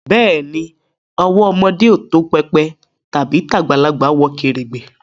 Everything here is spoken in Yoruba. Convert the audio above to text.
Beeni, owó ọmọdé tó pépè tàbí tagbalagbà wọ kèrègbè